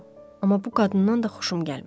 Amma bu qadından da xoşum gəlmir.